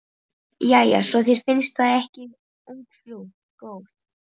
Jæja, svo þér finnst það ekki ungfrú góð.